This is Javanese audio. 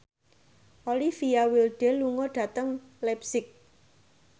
Olivia Wilde lunga dhateng leipzig